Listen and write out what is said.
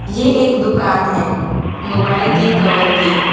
ये एक दुकान है मोबाइल की कवर की।